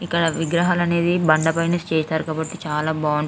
ఇక్కడ విగ్రహలు అనేది బండ పై నుంచి చేసారు కాబట్టి చాలా బాగుంటాయి.